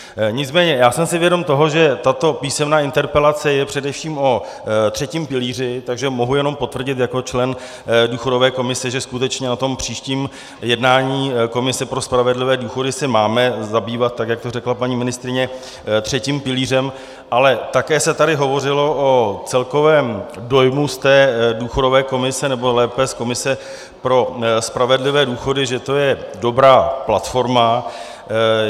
Nicméně já jsem si vědom toho, že tato písemná interpelace je především o třetím pilíři, takže mohu jenom potvrdit jako člen důchodové komise, že skutečně na tom příštím jednání komise pro spravedlivé důchody se máme zabývat, tak jak to řekla paní ministryně, třetím pilířem, ale také se tady hovořilo o celkovém dojmu z té důchodové komise, nebo lépe z komise pro spravedlivé důchody, že to je dobrá platforma.